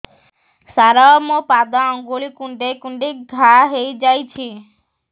ସାର ମୋ ପାଦ ଆଙ୍ଗୁଳି କୁଣ୍ଡେଇ କୁଣ୍ଡେଇ ଘା ହେଇଯାଇଛି